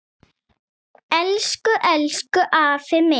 Elsku, elsku afi minn.